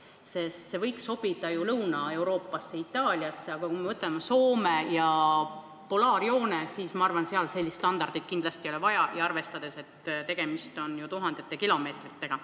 See võiks sobida Lõuna-Euroopasse, Itaaliasse, aga kui me vaatame Soomet ja polaarjoont, siis ma arvan, on selge, et seal sellist standardit kindlasti vaja ei ole, arvestades, et tegemist on tuhandete kilomeetritega.